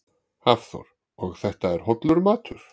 Hafþór: Og þetta er hollur matur?